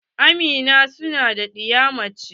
Amina sunan ɗiya mace ce.